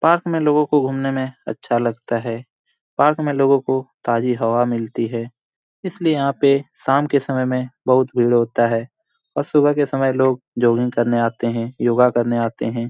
Park में लोगो को घुमने में अच्छा लगता है। पार्क में लोगो को ताज़ी हवा मिलती है इसलिए यहाँ पे शाम के समय में बहुत भीड़ होता है और सुबह के समय लोग जॉगिंग करने आते है योगा करने आते है।